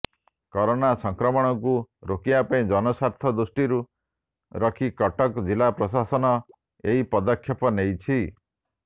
corona ସଂକ୍ରମଣକୁ ରୋକିବା ଓ ଜନସ୍ୱାର୍ଥକୁ ଦୃଷ୍ଟିରେ ରଖି କଟକ ଜିଲ୍ଲା ପ୍ରଶାସନ ଏହି ପଦକ୍ଷେପ ନେଇଛି